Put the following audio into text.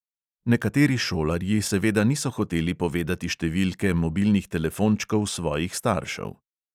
Nekateri šolarji seveda niso hoteli povedati številke mobilnih telefončkov svojih staršev.